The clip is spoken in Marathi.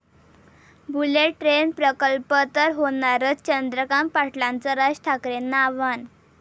बुलेट ट्रेन प्रकल्प तर होणारच, चंद्रकांत पाटलांचं राज ठाकरेंना आव्हान